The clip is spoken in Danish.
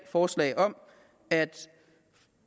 forslag om at